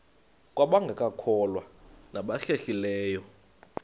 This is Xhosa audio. kwabangekakholwa nabahlehli leyo